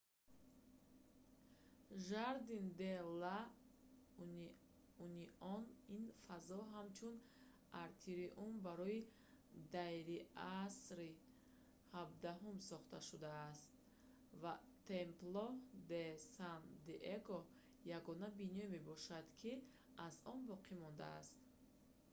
жардин де ла унион ин фазо ҳамчун атриум барои дайриасри 17-ум сохта шудааст ва темпло де сан диего ягона биное мебошад ки аз он боқӣ монда аст